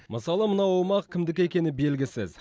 мысалы мына аумақ кімдікі екені белгісіз